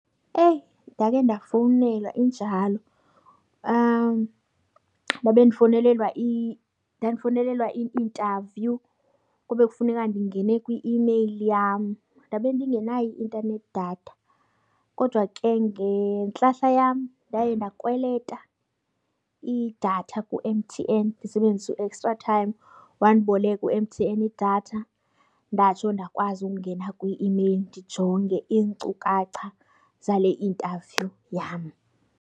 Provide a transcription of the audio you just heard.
Eyi, ndake ndafowunela injalo. Ndabe ndifowunelelwa ndandifowunelelwa i-interview kube kufuneka ndingene kwi-imeyili yam, ndabe ndingenayo i-intanethi datha. Kodwa ke ngentlahla yam ndaye ndakweleta idatha ku-M_T_N ndisebenzisa u-extra time. Wandiboleka u-M_T_N idatha ndatsho ndakwazi ukungena kwi-imeyili ndijonge iinkcukacha zale interview yam.